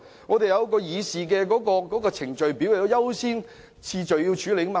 我們有議事程序，要按優先次序處理。